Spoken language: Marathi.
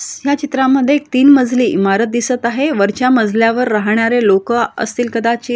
ह्या चित्रामद्धे एक तीन मजली इमारत दिसत आहे वरच्या मजल्यावर राहणारे लोक असतील कदाचित.